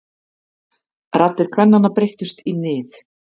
Raddir kvennanna breyttust í nið.